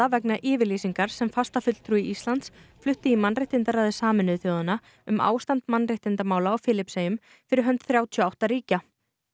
vegna yfirlýsingar sem fastafulltrúi Íslands flutti í mannréttindaráði Sameinuðu þjóðanna um ástand mannréttindamála á Filippseyjum fyrir hönd þrjátíu og átta ríkja